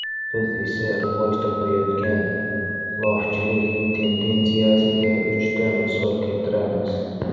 Biz esa rivoj topayotgan lofchilik tendensiyasiga uchta misol keltiramiz.